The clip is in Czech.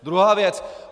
Druhá věc.